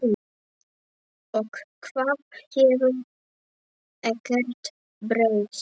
Og það hefur ekkert breyst.